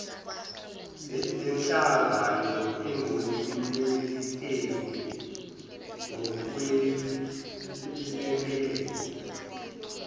lenhlangano engumelekeleli ngokwelekelela